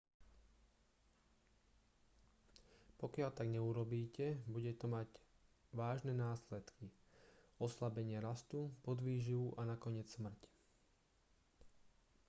pokiaľ tak neurobíte bude to mať vážne následky oslabenie rastu podvýživu a nakoniec smrť